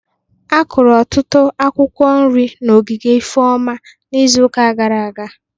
A kụrụ ọtụtụ akwụkwọ nri n'ogige Ifeoma n'izuụka gara aga